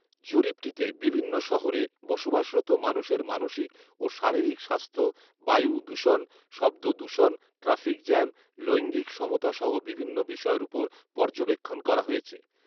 জরিপটিতে বিভিন্ন শহরে বসবাসরত মানুষের মানসিক ও শারীরিক স্বাস্থ্য, বায়ু দূষণ, শব্দ দূষণ, ট্র্যাফিক জ্যাম, লৈঙ্গিক সমতাসহ বিভিন্ন বিষয়ের উপর পর্যবেক্ষণ করা হয়েছে